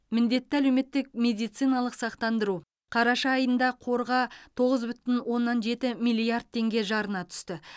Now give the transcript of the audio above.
міндетті әлеуметтік медициналық сақтандыру қараша айында қорға тоғыз бүтін оннан жеті миллиард теңге жарна түсті